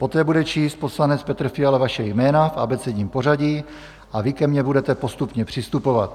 Poté bude číst poslanec Petr Fiala vaše jména v abecedním pořadí a vy ke mně budete postupně přistupovat.